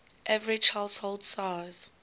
average household size